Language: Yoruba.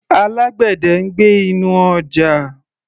Alágbẹ̀dẹ̀ ń gbẹ́ inú ọjà.